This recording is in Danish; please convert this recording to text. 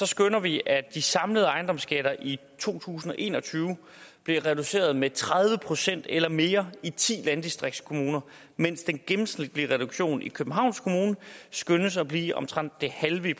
skønner vi at de samlede ejendomsskatter i to tusind og en og tyve bliver reduceret med tredive procent eller mere i ti landdistriktskommuner mens den gennemsnitlige reduktion i københavns kommune skønnes at blive omtrent det halve